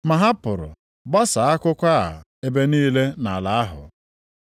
Ma ha pụrụ gbasaa akụkọ a ebe niile nʼala ahụ.